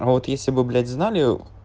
а вот если бы блять знали